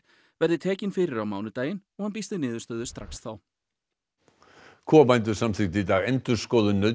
verði tekin fyrir á mánudaginn og hann býst við niðurstöðu strax þá kúabændur samþykktu í dag endurskoðun